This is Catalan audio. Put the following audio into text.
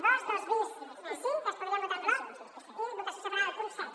dos dos bis i cinc que es podrien votar en bloc i votació separada del punt set